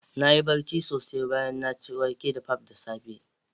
Na yi barci sosai bayan na ci wake da pap da safe